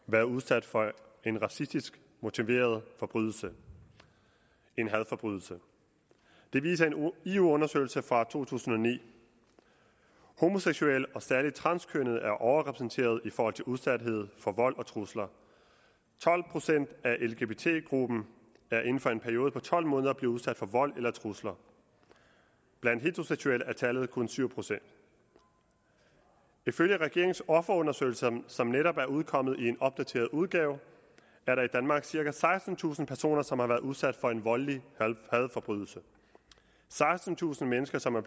været udsat for en racistisk motiveret forbrydelse en hadforbrydelse det viser en eu undersøgelse fra to tusind og ni homoseksuelle og særlig transkønnede er overrepræsenteret i forhold til udsathed for vold og trusler tolv procent af lgbt gruppen er inden for en periode på tolv måneder blevet udsat for vold eller trusler blandt heteroseksuelle er tallet kun syv procent ifølge regeringens offerundersøgelse som netop er udkommet i en opdateret udgave er der i danmark cirka sekstentusind personer som har været udsat for en voldelig hadforbrydelse sekstentusind mennesker som er